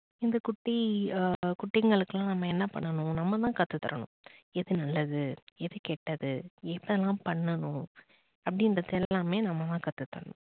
இந்த குட்டி ஆஹ் குட்டிகளுக்கெல்லாம் நம்ம என்ன பண்ணனும் நம்ப தான் கத்து தரணும். எது நல்லது, எது கெட்டது எதெல்லாம் பண்ணனும் அப்படின்றத எல்லாமே நம்ம தான் கத்து தரணும்.